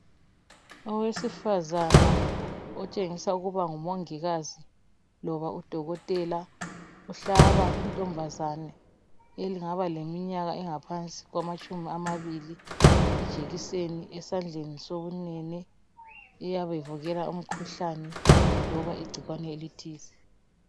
Owesifazana otshengisa ukuba ngumongikazi loba udokotela uhlaba inkazana engaba leminyaka engaphansi kwamatshumi amabili ijekiseni esandleni sokunene uvikela imikhuhlane loba igcikwane elithize.